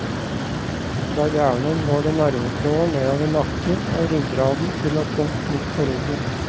Fra hjernen går det nervetråder nedover naken og ryggraden til et punkt midt på ryggen.